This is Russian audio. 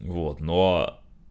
вот но